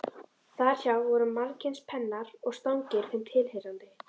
Þar hjá voru margskyns pennar og stangir þeim tilheyrandi.